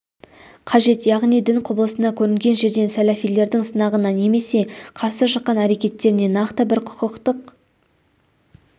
қажет яғни дін құбылысына көрінген жерден сәләфилердің сынағына немесе қарсы шыққан әрекеттеріне нақты бір құқықтық